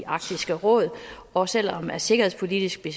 arktisk råd og selv om det sikkerhedspolitiske